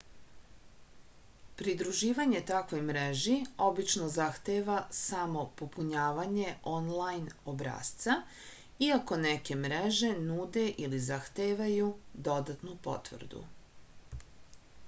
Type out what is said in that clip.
pridruživanje takvoj mreži obično zahteva samo popunjavanje onlajn obrasca iako neke mreže nude ili zahtevaju dodatnu potvrdu